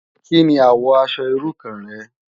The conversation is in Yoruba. Ki ni àwò aṣò irú kàn rè?